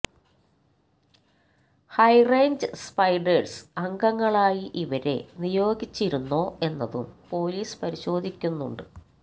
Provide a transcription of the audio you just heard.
high range spiders അംഗങ്ങളായി ഇവരെ നിയോഗിച്ചിരുന്നോ എന്നതും പോലീസ് പരിശോധിക്കുന്നുണ്ട്